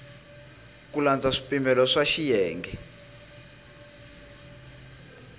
ku landza swipimelo swa xiyenge